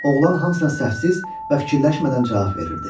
Oğlan hamısına səhvsiz və fikirləşmədən cavab verirdi.